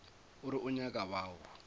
o re o nyaka bao